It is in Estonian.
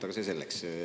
Aga see selleks.